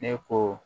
Ne ko